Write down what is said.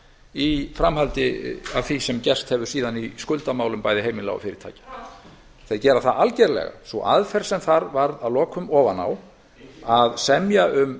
í framhaldi af því sem gerst hefur síðan í skuldamálum bæði heimila og fyrirtækja þeir gera það algjörlega sú aðferð sem þar varð að lokum ofan á að semja um